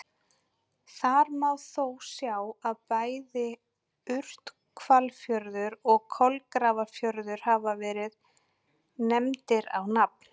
Þar má þó sjá að bæði Urthvalafjörður og Kolgrafafjörður hafa verið nefndir á nafn.